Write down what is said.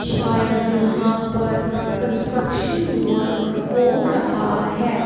शायद यहां पर कंस्ट्रक्शन वर्क हो रहा है।